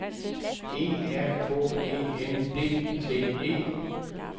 E R K E N D T E